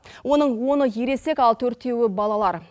оның оны ересек ал төртеуі балалар